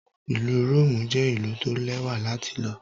Ìlú Róòmù jẹ́ ìlú tó lẹ́wà láti lọ.